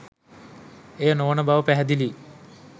එය නොවන බව පැහැදිලියි.